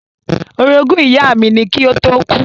Orogún ìyá mi ni kí ó tó kú.